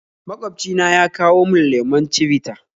Magwabci na ya kawo mun lemon chivita